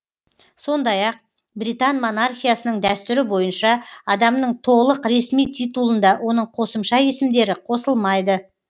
сондай ақ британ монархиясының дәстүрі бойынша адамның толық ресми титулында оның қосымша есімдері қосылмайды